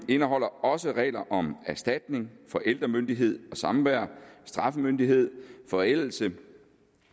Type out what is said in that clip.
indeholder også regler om erstatning forældremyndighed og samvær straffemyndighed forældelse